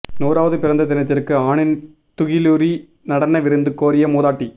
நூறாவது பிறந்த தினத்திற்கு ஆணின் துகிலுரி நடன விருந்து கோரிய மூதாட்டி